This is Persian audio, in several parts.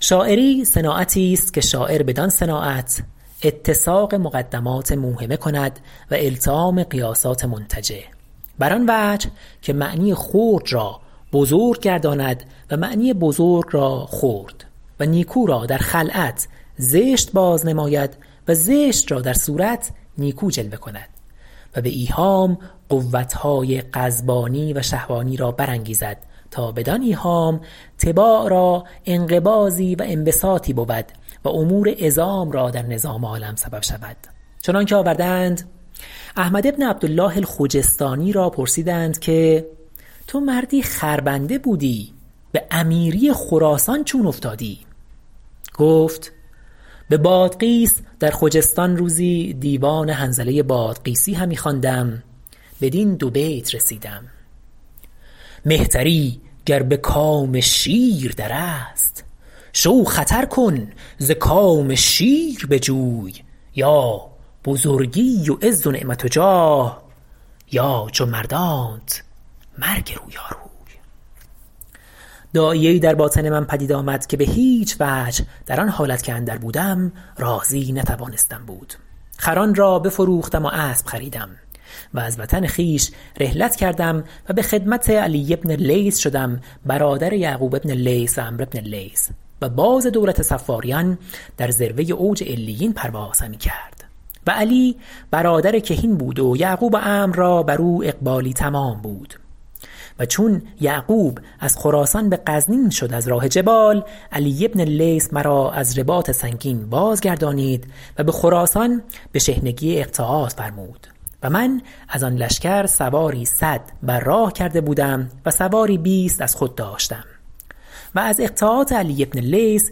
شاعری صناعتی است که شاعر بدان صناعت اتساق مقدمات موهمه کند و التیام قیاسات منتجه بر آن وجه که معنی خرد را بزرگ گرداند و معنی بزرگ را خرد و نیکو را در خلعت زشت باز نماید و زشت را در صورت نیکو جلوه کند و به ایهام قوتهای غضبانی و شهوانی را بر انگیزد تا بدان ایهام طباع را انقباضی و انبساطی بود و امور عظام را در نظام عالم سبب شود چنان که آورده اند حکایت احمد بن عبدالله الخجستانی را پرسیدند که تو مردی خر بنده بودی به امیری خراسان چون افتادی گفت به بادغیس در خجستان روزی دیوان حنظله بادغیسی همی خواندم بدین دو بیت رسیدم مهتری گر به کام شیر در است شو خطر کن ز کام شیر بجوی یا بزرگی و عز و نعمت و جاه یا چو مردانت مرگ رویاروی داعیه ای در باطن من پدید آمد که به هیچ وجه در آن حالت که اندر بودم راضی نتوانستم بود خران را بفروختم و اسب خریدم و از وطن خویش رحلت کردم و به خدمت علی بن اللیث شدم برادر یعقوب بن اللیث و عمرو بن اللیث و باز دولت صفاریان در ذروه اوج علیین پرواز همی کرد و علی برادر کهین بود و یعقوب و عمرو را بر او اقبالی تمام بود و چون یعقوب از خراسان به غزنین شد از راه جبال علی بن اللیث مرا از رباط سنگین باز گردانید و به خراسان به شحنگی اقطاعات فرمود و من از آن لشکر سواری صد بر راه کرده بودم و سواری بیست از خود داشتم و از اقطاعات علی بن اللیث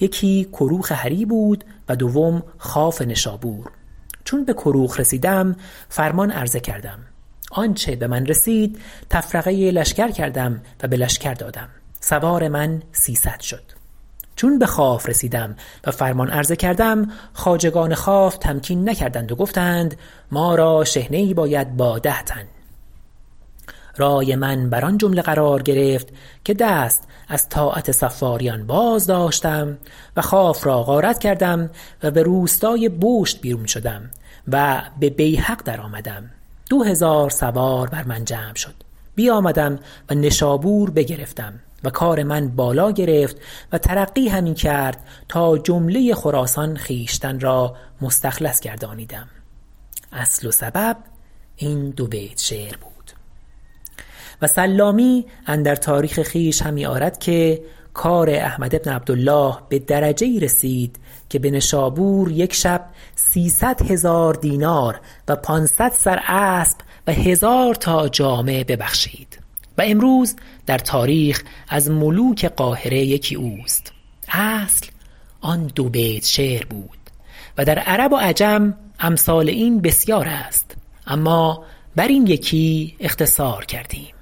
یکی کروخ هری بود و دوم خواف نشابور چون به کروخ رسیدم فرمان عرضه کردم آنچه به من رسید تفرقه لشکر کردم و به لشکر دادم سوار من سیصد شد چون به خواف رسیدم و فرمان عرضه کردم خواجگان خواف تمکین نکردند و گفتند ما را شحنه ای باید با ده تن رای من بر آن جمله قرار گرفت که دست از طاعت صفاریان بازداشتم و خواف را غارت کردم و به روستای بشت بیرون شدم و به بیهق درآمدم دو هزار سوار بر من جمع شد بیامدم و نشابور بگرفتم و کار من بالا گرفت و ترقی همی کرد تا جمله خراسان خویشتن را مستخلص گردانیدم اصل و سبب این دو بیت شعر بود و سلامی اندر تاریخ خویش همی آرد که کار احمد بن عبدالله به درجه ای رسید که به نشابور یک شب سیصد هزار دینار و پانصد سر اسب و هزار تا جامه ببخشید و امروز در تاریخ از ملوک قاهره یکی اوست اصل آن دو بیت شعر بود و در عرب و عجم امثال این بسیار است اما بر این یکی اختصار کردیم